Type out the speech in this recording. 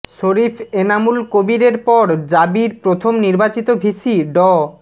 শরীফ এনামুল কবীরের পর জাবির প্রথম নির্বাচিত ভিসি ড